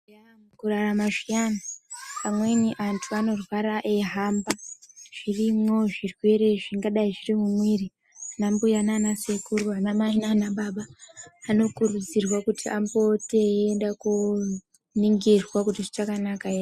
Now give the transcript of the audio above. Mukurarama zviyani, amweni antu anorwara eihamba, ngezvimweniwo zvirwere zvingadai zvirimumwiri. Vana mbuya nanasekuru, anamai nanababa anokurudzirwa kuti apote eiende koningirwa kuti zvichakanaka ere.